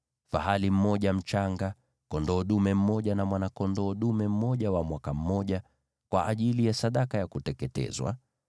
fahali mmoja mchanga, kondoo dume mmoja na mwana-kondoo dume mmoja wa mwaka mmoja, kwa ajili ya sadaka ya kuteketezwa;